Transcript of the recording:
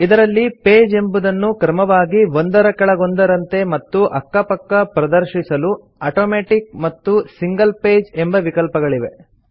ಇದರಲ್ಲಿ ಪೇಜ್ ಎಂಬುದನ್ನು ಕ್ರಮವಾಗಿ ಒಂದರ ಕೆಳಗೊಂದರಂತೆ ಮತ್ತು ಅಕ್ಕ ಪಕ್ಕ ಪ್ರದರ್ಶಿಸಲು ಆಟೋಮ್ಯಾಟಿಕ್ ಮತ್ತು ಸಿಂಗಲ್ ಪೇಜ್ ಎಂಬ ವಿಕಲ್ಪಗಳಿವೆ